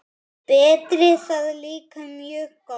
Berti það líka mjög gott.